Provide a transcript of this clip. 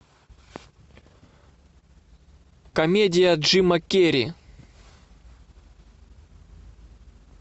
комедия джима керри